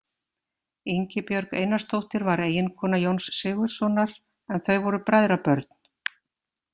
Ingibjörg Einarsdóttir var eiginkona Jóns Sigurðssonar, en þau voru bræðrabörn.